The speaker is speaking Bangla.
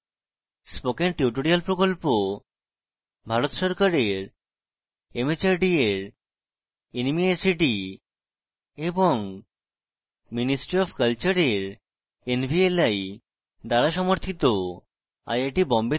spoken tutorial project ভারত সরকারের mhrd এর nmeict এবং ministry অফ কলচারের nvli দ্বারা সমর্থিত